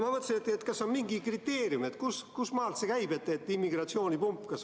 Aga kas on mingi kriteerium, kustmaalt see käib, et on immigratsioonipump?